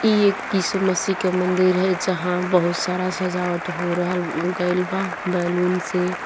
ये एक इसु मसीह का मंदिर है जहा बहुत सारा सजावट हो रहल गईल बा बेलून से --